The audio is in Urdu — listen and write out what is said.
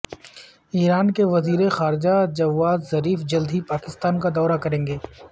ایران کے وزیر خارجہ جواد ظریف جلد ہی پاکستان کا دورہ کریں گے